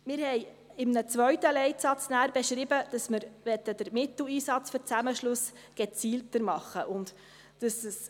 In einem zweiten Leitsatz haben wir nachher beschrieben, dass wir den Mitteleinsatz für Zusammenschlüsse gezielter machen möchten.